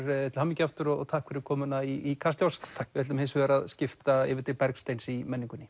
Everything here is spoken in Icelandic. til hamingju aftur og takk fyrir komuna í Kastljós við ætlum hins vegar að skipta yfir til Bergsteins í menningunni